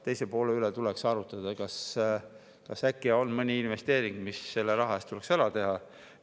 Teise poole puhul tuleks arutada, kas äkki on mõni investeering, mis selle raha eest tuleks ära teha.